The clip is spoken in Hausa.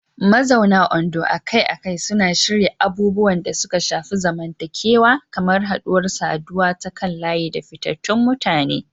Mazauna Ondo akai-akai suna shirya abubuwan da suka shafi zamantakewa kamar haɗuwar saduwa ta kan layi da fitattun mutane.